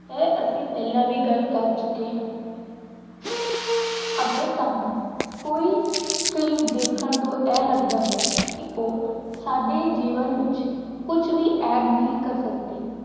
ਇਹ ਅਸੀਂ ਪਹਿਲਾਂ ਵੀ ਗੱਲ ਕਰ ਚੁੱਕੇ ਹਾਂ ਅਗਰ ਤੁਹਾਨੂੰ ਕੋਈ ਫਿਲਮ ਦੇਖਣ ਤੋਂ ਇਹ ਲੱਗਦਾ ਹੈ ਕਿ ਉਹ ਸਾਡੇ ਜੀਵਨ ਵਿੱਚ ਕੁੱਝ ਵੀ add ਨਹੀਂ ਕਰ ਸਕਦੀ,